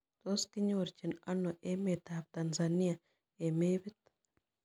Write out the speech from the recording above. Tos' kinyorjin ano emetap Tanzania eng' mepit